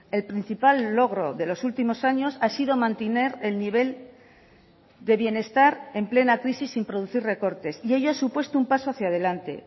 el principal logro de los últimos años ha sido mantener el nivel de bienestar en plena crisis sin producir recortes y ello ha supuesto un paso hacia delante